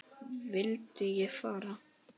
Vildi ég fara?